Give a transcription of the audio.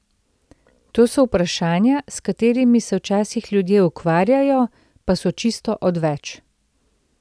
To so vprašanja, s katerimi se včasih ljudje ukvarjajo, pa so čisto odveč.